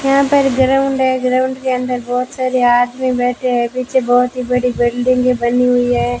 यहां पर ग्राउंड है ग्राउंड के अंदर बहोत सारे आदमी बैठे है पीछे बहोत ही बड़ी बिल्डिंगे बनी हुई है।